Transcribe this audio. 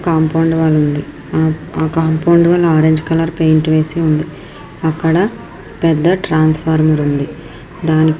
Compound wall ఉంది. ఆ compound wall orange colour paint వేసి ఉంది. అక్కడ పెద్ధ ట్రాన్స్ఫవర్మర్ ఉంది. దానికి--